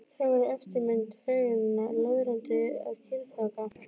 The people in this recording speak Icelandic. Þær voru eftirmyndir fegurðarinnar, löðrandi af kynþokka.